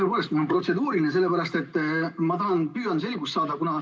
Tõepoolest, mul on protseduuriline küsimus, ma püüan selgust saada.